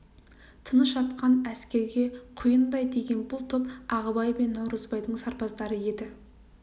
тыныш жатқан әскерге құйындай тиген бұл топ ағыбай мен наурызбайдың сарбаздары еді